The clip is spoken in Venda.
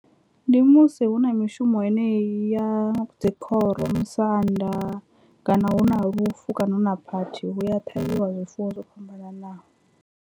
Ndi musi hu na mishumo yeneyi ya dzi khoro musanda kana hu na lufu kana hu na phathi huya ṱhavhiwa zwifuwo zwo fhambananaho.